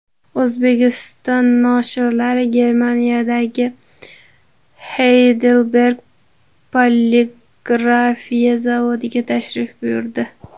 O‘zbekiston noshirlari Germaniyadagi Heidelberg poligrafiya zavodiga tashrif buyurdi.